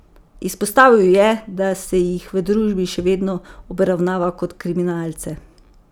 Izpostavil je, da se jih v družbi še vedno obravnava kot kriminalce.